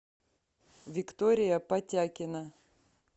виктория потякина